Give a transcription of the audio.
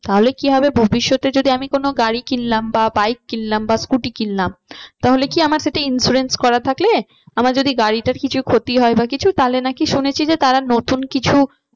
তাহলে কি হবে ভবিষ্যতে যদি আমি কোনো গাড়ি কিনলাম বা bike কিনলাম বা scooter কিনলাম, তাহলে কি আমার সেটা insurance করা থাকলে আমার যদি গাড়িটা কিছু ক্ষতি হয় বা কিছু তাহলে নাকি শুনেছি যে তারা নতুন কিছু